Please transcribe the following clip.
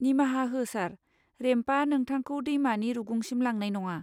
निमाहा हो सार। रेम्पआ नोंथांखौ दैमानि रुगुंसिम लांनाय नङा।